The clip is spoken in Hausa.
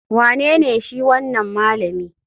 Wanene shi wanan malami?